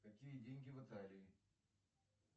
какие деньги в италии